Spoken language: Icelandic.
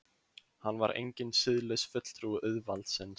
Hann var enginn siðlaus fulltrúi auðvaldsins.